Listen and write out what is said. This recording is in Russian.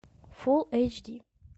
фулл эйч ди